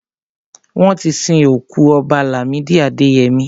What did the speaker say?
Wọ́n ti sin òkú Ọba Làmídì Adẹyẹmí.